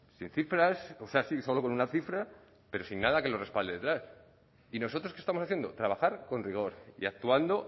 sin cifras o sea sí solo con una cifra pero sin nada que lo respalde detrás y nosotros qué estamos haciendo trabajar con rigor y actuando